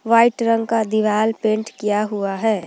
White रंग का दीवाल पेंट किया हुआ है।